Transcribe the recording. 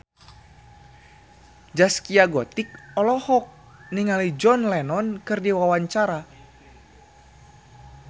Zaskia Gotik olohok ningali John Lennon keur diwawancara